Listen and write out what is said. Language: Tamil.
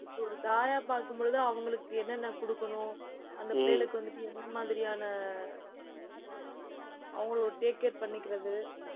இப்ப, ஒரு தாயா பார்க்கும் பொழுது அவங்களுக்கு, என்னென்ன குடுக்கணும் அந்த பிள்ளைகளுக்கு வந்துட்டு, என்ன மாதிரியான அவங்களை ஒரு take care பண்ணிக்கிறது